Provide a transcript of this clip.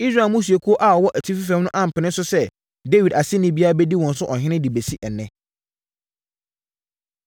Israel mmusuakuo a wɔwɔ atifi fam no ampene so sɛ Dawid aseni biara bɛdi wɔn so ɔhene de bɛsi ɛnnɛ.